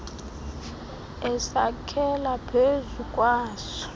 esakhela phezu kwaso